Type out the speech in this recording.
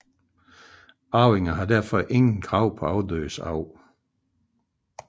Arvinger har dermed intet krav på afdødes arv